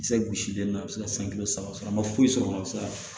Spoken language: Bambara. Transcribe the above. Kisɛ gosilen na a bi se ka san kile saba sɔrɔ a ma foyi sɔrɔ a bi se ka